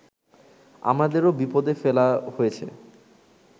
আমাদেরও বিপদে ফেলা হয়েছে